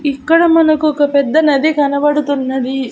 ఇక్కడ మనకు ఒక పెద్ద నది కనబడుతున్నది.